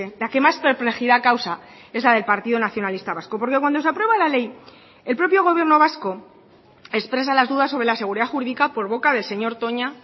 la que más perplejidad causa es la del partido nacionalista vasco porque cuando se aprueba la ley el propio gobierno vasco expresa las dudas sobre la seguridad jurídica por boca del señor toña